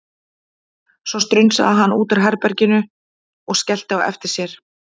Svo strunsaði hann út úr herbeginu og skellti á eftir sér.